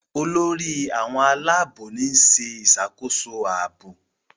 Olórí àwọn Àlàabò ni ṣe ìṣàkóso ààbò.